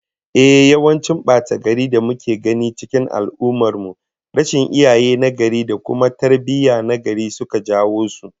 Ehh, yawancin bata-garin da muke gani cikin al'ummar mu, rashin iyaye nagari da kuma tarbiyyah tagari suka jawo su